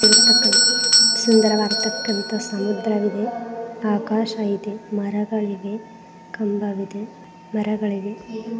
ಸುಂದರವಾದತಕ್ಕಂತ ಸಮುದ್ರವಿದೆ ಆಕಾಶ ಇದೆ ಮರಗಳಿಗೆ ಕಂಬವಿದೆ.